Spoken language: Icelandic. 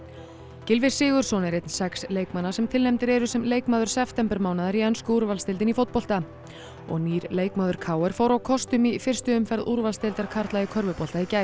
Gylfi Sigurðsson er einn sex leikmanna sem tilnefndir eru sem leikmaður septembermánaðar í ensku úrvalsdeildinni í fótbolta og nýr leikmaður k r fór á kostum í fyrstu umferð úrvalsdeildar karla í körfubolta í gær